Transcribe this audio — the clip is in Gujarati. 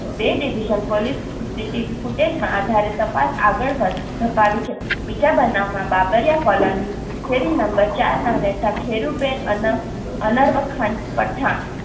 બે division પોલીસ CCTV ફૂટેજમાં આધારિત તપાસ આગળ વધ ધપાવી છે. બીજા વબનાવમાં બાબરિયા કોલોની શેરી નંબર ચારના રહેતા ખેરુબેન અન અનરવખાન પઠાણ